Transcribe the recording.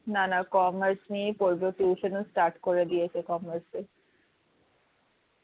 না না commerce নিয়েই পড়বে ও tuition ও start করে দিয়েছে commerce এর